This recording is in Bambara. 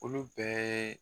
Olu bɛ